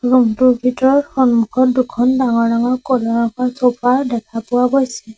Room টোৰ ভিতৰত সন্মুখত দুখন ডাঙৰ ডাঙৰ ক'লা ৰঙৰ চ'ফা দেখা পোৱা গৈছে।